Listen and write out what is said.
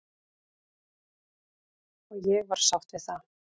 Og ég var sátt við það.